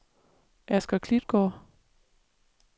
Asger Klitgaard